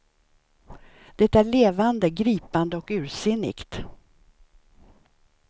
Det är levande, gripande och ursinnigt.